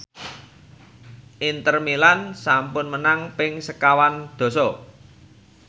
Inter Milan sampun menang ping sekawan dasa